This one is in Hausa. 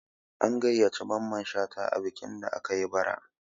An gayyaci Mamman Shata a bikin da aka yi bara